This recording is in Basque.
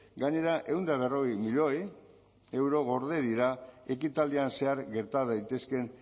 gainera ehun eta berrogei milioi euro gorde dira ekitaldian zehar gerta daitezkeen